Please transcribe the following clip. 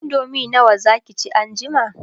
indomie nawa Zaki ci an jima?